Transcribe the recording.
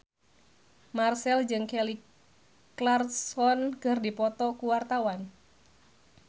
Marchell jeung Kelly Clarkson keur dipoto ku wartawan